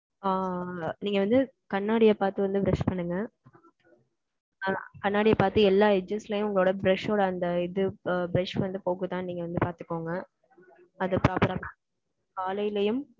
ஆ, நீங்க வந்து, கண்ணாடிய பாத்து வந்து, brush பண்ணுங்க. அஹ் கண்ணாடிய பாத்து, எல்லா edges லயும், உங்களோட, brush ஓட, அந்த, இது, ஆ, brush வந்து, போகுதான்னு, நீங்க வந்து, பாத்துக்கோங்க. அது proper ஆஹ் காலையிலயும்,